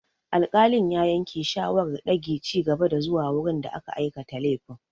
Alƙalin ya yanke shawarar dage ci gaba zuwa wurin da aka aikata laifin.